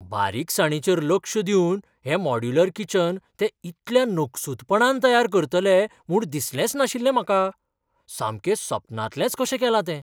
बारीकसाणीचेर लक्ष दिवन हें मॉड्यूलर किचन ते इतल्या नकसूदपणान तयार करतले म्हूण दिसलेंच नाशिल्लें म्हाका! सामकें सपनांतलेंच कशें केलां तें.